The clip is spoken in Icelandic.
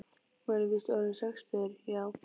Maður er víst orðinn sextugur, já.